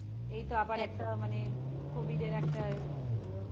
এইতো আবার একদম একটা মানে covid এর একটা